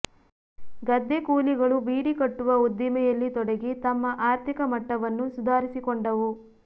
ಗದ್ದೆಕೂಲಿಗಳು ಬೀಡಿ ಕಟ್ಟುವ ಉದ್ದಿಮೆಯಲ್ಲಿ ತೊಡಗಿ ತಮ್ಮ ಆರ್ಥಿಕ ಮಟ್ಟವನ್ನು ಸುಧಾರಿಸಿಕೊಂಡವು